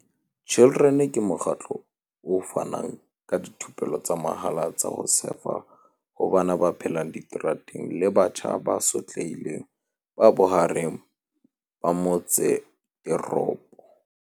Children ke mokgatlo o fanang ka dithupelo tsa mahala tsa ho sefa ho bana ba phelang diterateng le batjha ba sotlehileng ba bohareng ba motseteropo.